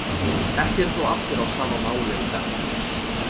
Ekki eru þó allir á sama máli um þetta.